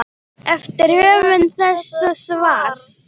eftir höfund þessa svars.